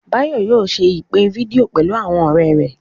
Báyọ̀ yóò ṣe ìpè fídíò pẹ̀lú àwọn ọ̀rẹ́ rẹ̀